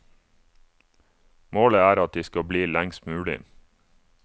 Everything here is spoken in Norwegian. Målet er at de skal bli lengst mulig.